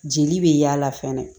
Jeli bɛ yaala fɛnɛ